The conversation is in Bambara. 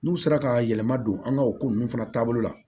N'u sera ka yɛlɛma don an ka o ko ninnu fana taabolo la